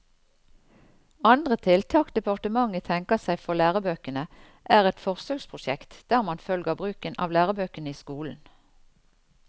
Andre tiltak departementet tenker seg for lærebøkene, er et forsøksprosjekt der man følger bruken av lærebøkene i skolen.